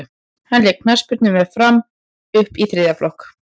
hann lék knattspyrnu með fram upp í þriðja flokk